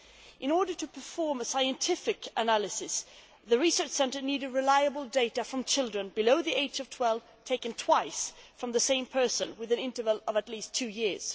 In order to perform its scientific analysis, the Research Centre needed reliable data from children below the age of 12 taken twice from the same person, with an interval of at least two years.